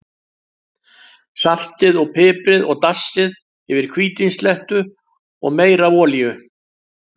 Saltið og piprið og dassið yfir hvítvíns slettu og meira af olíu.